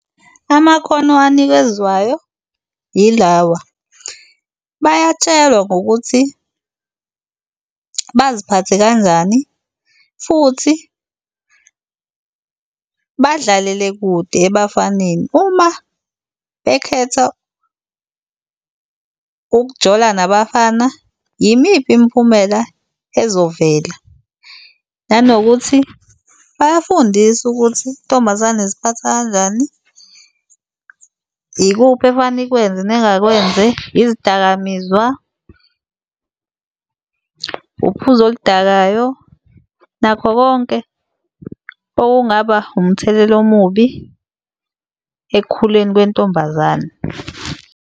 Amakhono anikezwayo yilawa, bayatshelwa ngokuthi baziphathe kanjani futhi badlalele kude ebafaneni. Uma bekhetha ukujola nabafana, yimiphi imiphumela ezovela. Nanokuthi bayafundiswa ukuthi intombazane iziphatha kanjani, ikuphi efana ikwenze nengakwenzi, yizidakamizwa, uphuzo oludakayo nakho konke okungaba umthelela omubi ekukhuleni kwentombazane.